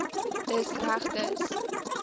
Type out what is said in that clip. dis reg dis